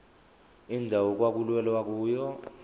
indawo okwakulwelwa kuyona